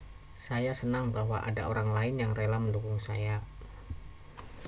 saya senang bahwa ada orang lain yang rela mendukung saya